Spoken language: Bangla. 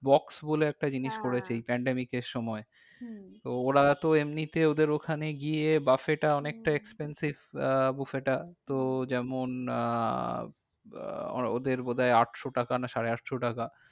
Box বলে একটা জিনিস করেছে এই pandemic এর সময়। হম ওরা তো এমনিতে ওদের ওখানে গিয়ে buffet এ টা অনেকটা expensive আহ buffet টা তো যেমন আহ আহ ওদের বোধ হয় আটশো টাকা না সাড়ে আটশো টাকা।